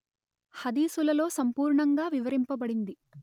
హదీసులలో సంపూర్ణంగా వివరింపబడింది